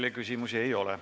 Teile küsimusi ei ole.